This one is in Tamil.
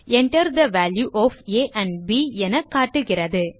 Enter the value of a and b என காட்டுகிறது